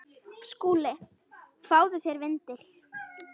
SKÚLI: Fáðu þér vindil.